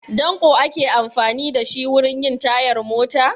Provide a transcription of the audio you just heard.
Danƙo ake amfani da shi wurin yin tayar mota?